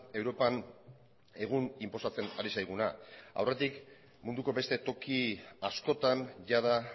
europan egun inposatzen ari zaiguna aurretik munduko beste toki askotan jada